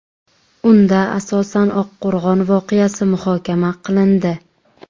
Unda asosan Oqqo‘rg‘on voqeasi muhokama qilindi .